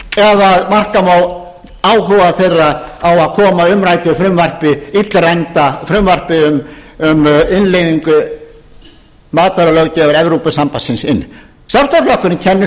slátra ef marka má áhuga þeirra á að koma umræddu frumvarpi illræmdu frumvarpi um innleiðingu matvælalöggjafar evrópusambandsins inn sjálfstæðisflokkurinn kennir